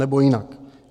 Anebo jinak.